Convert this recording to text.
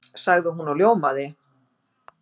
sagði hún og ljómaði.